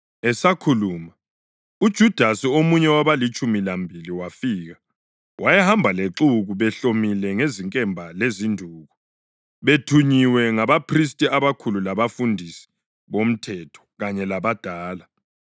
Esakhuluma, uJudasi, omunye wabalitshumi lambili, wafika. Wayehamba lexuku behlomile ngezinkemba lezinduku, bethunyiwe ngabaphristi abakhulu labafundisi bomthetho kanye labadala.